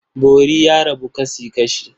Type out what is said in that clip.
Bori ya rabu kasi-kashi.